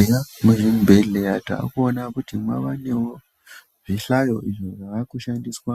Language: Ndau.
Eya muzvibhedhleya taakuona kuti mavanewo zvihlayo izvo zvavakushandiswa